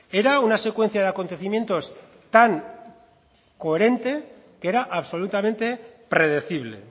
era una secuencia de acontecimientos tan coherente que era absolutamente predecible